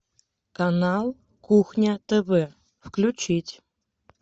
канал кухня тв включить